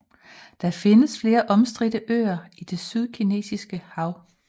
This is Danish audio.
Der findes flere omstridte øer i det sydkinesiske hav